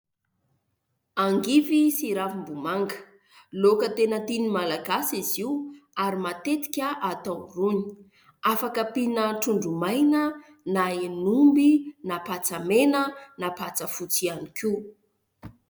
Angivy sy ravim-bomanga. Laoka tena tian'ny malagasy izy io ary matetika atao rony. Afaka ampiana trondro maina na hen'omby na patsa mena na patsa fotsy ihany koa.